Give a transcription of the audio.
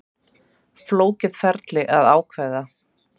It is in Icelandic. Flókið ferli að ákveða